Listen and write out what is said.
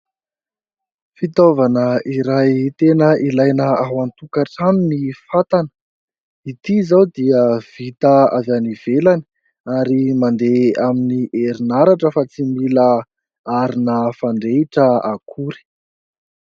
Fitaovana iray tena ilaina ao an-tokantrano ny fatana. Ity izao dia vita avy ivelany ary mandeha amin'ny herinaratra fa tsy mila arina fandrehitra akory.